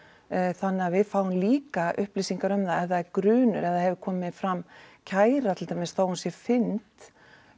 þannig að við fáum líka upplýsingar um það ef það er grunur ef það hefur komið fram kæra til dæmis þó hún sé fyrnd